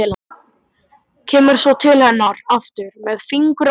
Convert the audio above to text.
Kemur svo til hennar aftur með fingur á lofti.